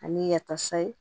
Ani yatasa